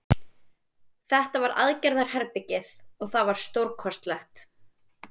Þetta var aðgerðarherbergið og það var stórkostlegt.